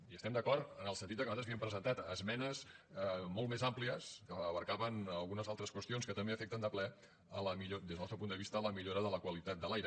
i hi estem d’acord en el sentit que nosaltres havíem presentat esmenes molt més àmplies que abastaven algunes altres qüestions que també afecten de ple des del nostre punt de vista la millora de la qualitat de l’aire